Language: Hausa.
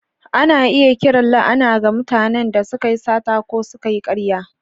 Ana iya kiran la’ana ga mutanen da suka yi sata ko suka yi ƙarya.